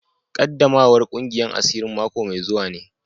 Qaddamawar kungiyar asirin mako mai zuwa ne.